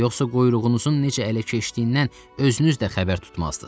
Yoxsa quyruğunuzun necə ələ keçdiyindən özünüz də xəbər tutmazsınız.